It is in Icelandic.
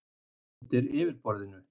Undir yfirborðinu